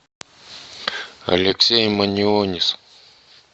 алексей манионис